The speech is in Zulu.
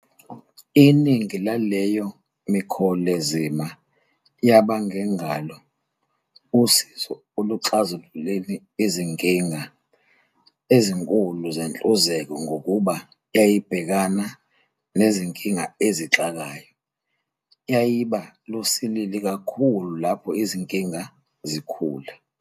Iningi laleyo mikholezima yaba ngengalo usizo ekuxazululeni zinkinga ezinkulu zenhluzeko ngokuba yayibhekana 'nezinkinga ezixakayo"- yayiba lusilili kakhulu lapho izinkinga zikhula.